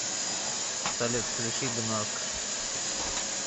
салют включи гнорк